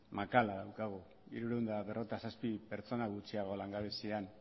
makala dago hirurehun eta berrogeita zazpi pertsona gutxiago langabezian